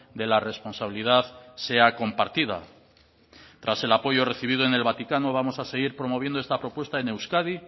de la responsabilidad sea compartida tras el apoyo recibido en el vaticano vamos a seguir promoviendo esta propuesta en euskadi